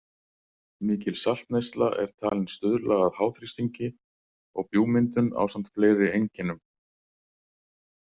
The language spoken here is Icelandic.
Mikil saltneysla er talin stuðla að háþrýstingi og bjúgmyndun ásamt fleiri einkennum.